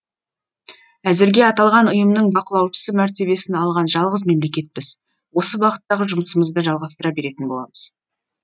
әзірге аталған ұйымның бақылаушысы мәртебесін алған жалғыз мемлекетпіз осы бағыттағы жұмысымызды жалғастыра беретін боламыз